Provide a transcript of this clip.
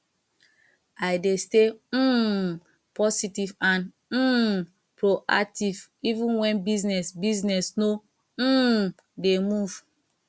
i dey stay um positive and um proactive even when business business no um dey move